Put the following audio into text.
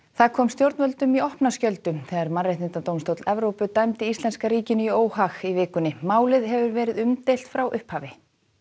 það kom stjórnvöldum í opna skjöldu þegar Mannréttindadómstóll Evrópu dæmdi íslenska ríkinu í óhag í vikunni málið hefur verið umdeilt frá upphafi